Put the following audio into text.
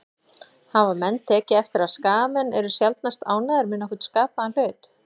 Hafa menn tekið eftir að Skagamenn eru sjaldnast ánægðir með nokkurn skapaðan hlut?